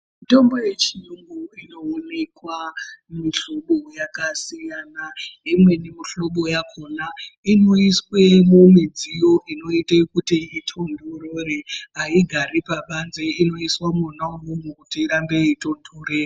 Mitombo yechiyungu inoonekwa mihlobo yakasiyana, imweni mihlobo yakhona inoiswe mumidziyo inoite kuti itontorere haigari pabanze inoiswa mwona imwomo kuti igare yeitontorera.